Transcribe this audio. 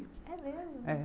É mesmo? É